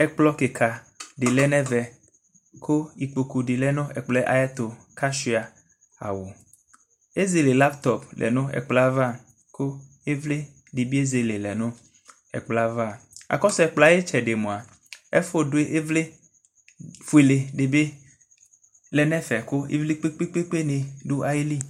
Ɛkplɔ kika de lɛ nɛvɛ ko ikpoku de lɛ no ɛkplɔ ayeto ka sua awu Ɛzele laptɔp lɛ no ɛkplɔ ava ko ivli de be ezele lɛ no ɛkplɔ ava Akɔso ɛkpɔɔ ayetsɛde moa ɛfo do ivli fuele de be lɛ nɛfɛ ko ivli kpekoe ne do ayili